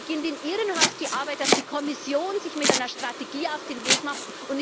Dann beginnt in Ihrem Haus die Arbeit, dass die Kommission sich mit einer Strategie auf den Weg macht.